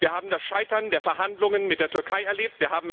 Wir haben das Scheitern der Verhandlungen mit der Türkei erlebt.